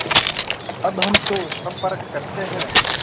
अब हम तो सफ़र करते हैं